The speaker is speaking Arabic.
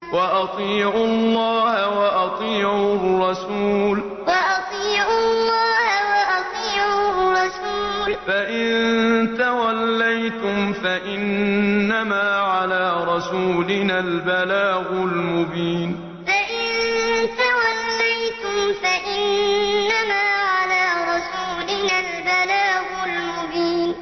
وَأَطِيعُوا اللَّهَ وَأَطِيعُوا الرَّسُولَ ۚ فَإِن تَوَلَّيْتُمْ فَإِنَّمَا عَلَىٰ رَسُولِنَا الْبَلَاغُ الْمُبِينُ وَأَطِيعُوا اللَّهَ وَأَطِيعُوا الرَّسُولَ ۚ فَإِن تَوَلَّيْتُمْ فَإِنَّمَا عَلَىٰ رَسُولِنَا الْبَلَاغُ الْمُبِينُ